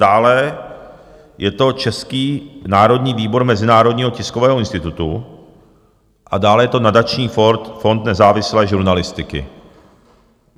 Dále je to Český národní výbor Mezinárodního tiskového institutu a dále je to Nadační fond nezávislé žurnalistiky.